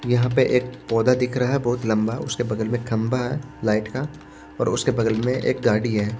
यहां पे एक पौधा दिख रहा है बहुत लंबा उसके बगल में खंभा है लाइट का और उसके बगल में एक गाड़ी है।